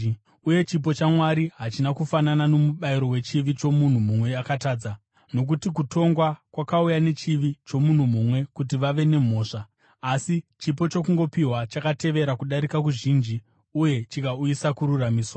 Uye chipo chaMwari hachina kufanana nomubayiro wechivi chomunhu mumwe akatadza: Nokuti kutongwa kwakauya nechivi chomunhu mumwe kuti vave nemhosva, asi chipo chokungopiwa chakatevera kudarika kuzhinji uye chikauyisa kururamisirwa.